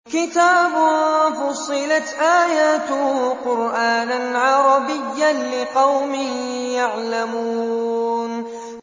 كِتَابٌ فُصِّلَتْ آيَاتُهُ قُرْآنًا عَرَبِيًّا لِّقَوْمٍ يَعْلَمُونَ